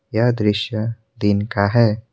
यह दृश्य दिन का है।